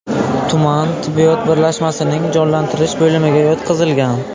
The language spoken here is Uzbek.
tuman tibbiyot birlashmasining jonlantirish bo‘limiga yotqizilgan.